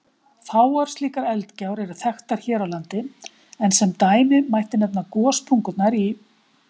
Fáar slíkar eldgjár eru þekktar hér á landi, en sem dæmi mætti nefna gossprungurnar í